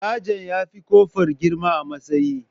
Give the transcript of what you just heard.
Sajan ya fi kofur girma a matsayi.